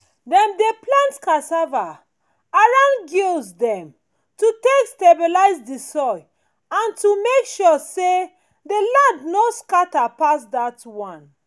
dem dey plant cassava around gullies dem to take stabilize the soil and to make sure say the land no scatter pass dat one